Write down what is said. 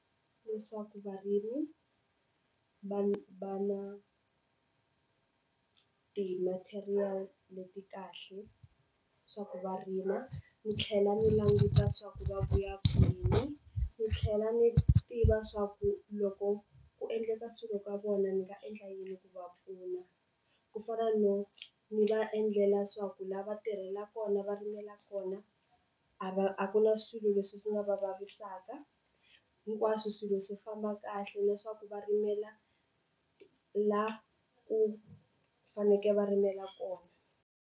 Leswaku varimi va ni va na ti-material leti kahle swa ku va rima ni tlhela ni languta swa ku va vuya kwini ni tlhela ni tiva swa ku loko ku endleka swilo ka vona ni nga endla yini ku va pfuna ku fana ni va endlela swa ku la va tirhela kona va rimela kona a va a kula swi leswi swi nga va vavisaka hinkwaswo swilo swi famba kahle leswaku va rimela la ku fanekele va rimela kona.